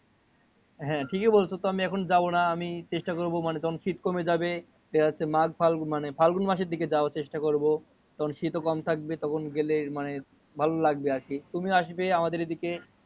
হ্যা ঠিকই বলছো, আমি এখন যাবো না। আমি চেষ্টা করবো মানে যখন শীত কমে যাবে। দেখা যাচ্ছে মাঘ ফাল্গুন মানে ফাল্গুন মাসে যাওয়ার চেষ্টা করবো। তখন শীতও কম থাকবে। তখন গেলে মানে ভালো লাগবে আর কি। তুমি আসবে আমাদের এইদিকে।